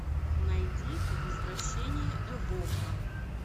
найди возвращение эвока